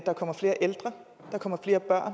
er